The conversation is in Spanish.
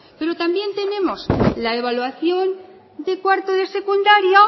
pero también tenemos la evaluación de cuarto de secundaria